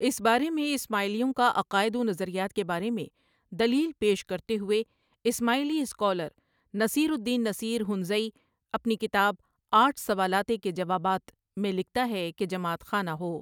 اس بارے میں اسماعیلیوں کاعقائد و نظریات کے بارے میں دلیل پیش کرتے ہوۓ اسماعیلی سکالر نصیر الدین نصیر ہنزائی آپنی کتاب آٹھ سوالاتے کے جوابات، میں لکھتاہے کہ جماعت خانہ ہو۔